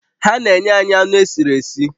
Ha na-enye anyị anụ esiri esi